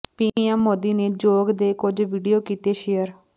PM Modi ਨੇ ਯੋਗ ਦੇ ਕੁਝ ਵੀਡੀਓ ਕੀਤੇ ਸ਼ੇਅਰ